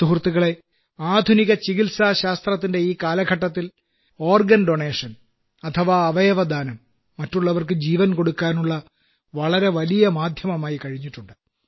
സുഹൃത്തുക്കളേ ആധുനിക ചികിത്സാശാസ്ത്രത്തിന്റെ ഈ കാലഘട്ടത്തിൽ അവയവദാനം മറ്റുള്ളവർക്ക് ജീവൻ കൊടുക്കാനുള്ള വളരെ വലിയ മാധ്യമമായി കഴിഞ്ഞിട്ടുണ്ട്